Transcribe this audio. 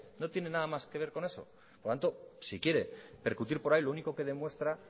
no tiene nada más que ver con eso por lo tanto si quiere percutir por ahí lo único que demuestra